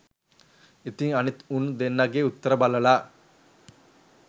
ඉතින් අනිත් උන් දෙන්නගෙ උත්තර බලලා